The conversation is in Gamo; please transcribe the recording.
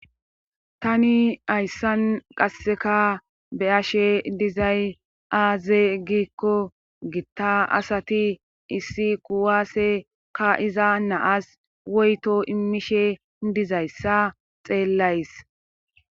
Tani hayssan qasseka be7ashe dizay aaze giikko gitta asati issi kuwaase ka7iza naas woyto immishe dizayssa xeellays.